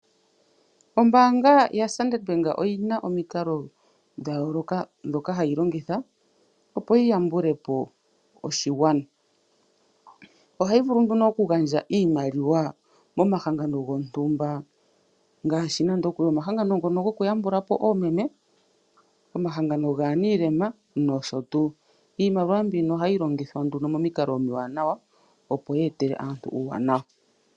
Ombaanga yaStandard oyi na omikalo dha yooloka ndhoka hayi longitha, opo yi yambule po oshigwana. Ohayi vulu nduno okugandja iimaliwa komahangano gontumba, oshiholelwa omahangano ngono gokuyambula po oomeme, omahangano gaamboka taya lumbu nuulema nosho tuu. Iimaliwa mbika ohayi longithwa momikalo omiwanawa, opo yi etele aantu uuwanwa.